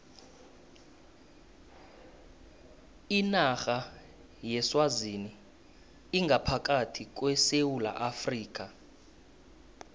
inarha yeswazini ingaphakathi kwesewula afrika